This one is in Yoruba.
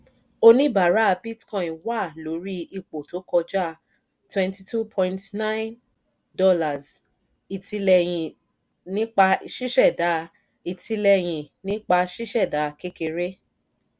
oníbàárà bitcoin wà lórí ipò tó kọjá $ twenty two point nine k ìtìlẹyìn nípa ṣíṣẹ̀dá ìtìlẹyìn nípa ṣíṣẹ̀dá kékeré.